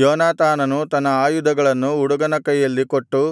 ಯೋನಾತಾನನು ತನ್ನ ಆಯುಧಗಳನ್ನು ಹುಡುಗನ ಕೈಯಲ್ಲಿ ಕೊಟ್ಟು